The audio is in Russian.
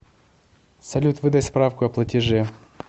салют выдай справку о платеже